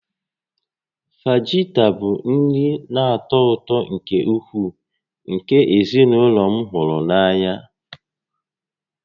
Fajita bụ nri na-atọ ụtọ nke ukwuu nke ezinụlọ m hụrụ n'anya